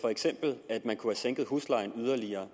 for eksempel at man kunne have sænket huslejen yderligere